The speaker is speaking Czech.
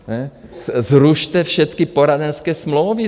Zrušte všecky poradenské smlouvy.